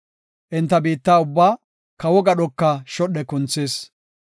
Enta biitta ubbaa, kawo gadhoka shodhe kunthis.